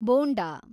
bonda